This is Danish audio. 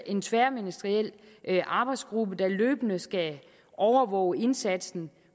en tværministeriel arbejdsgruppe der løbende skal overvåge indsatsen